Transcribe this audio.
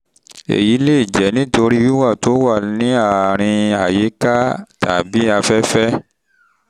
èyí lè jẹ́ nítorí wíwà tí ó wà ní àárín àyíká um tàbí afẹ́fẹ́ um